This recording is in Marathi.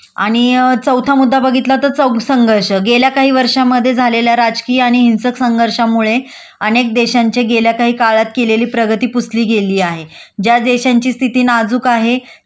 आणि चौथा मुद्दा बघितला तर संघर्ष गेल्या काही वर्षामध्ये झालेल्या राजकीय आणि हिंसक संघर्षामुळे अनेक देशांच्या गेल्या काही काळात केलेली प्रगती पुसली गेली आहे.ज्या देशांची स्थिती नाजूक आहे